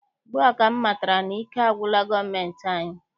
Ugbua ka m matara na ike agwụla gọọmentị anyị.